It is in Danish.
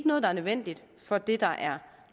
noget der er nødvendigt for det der er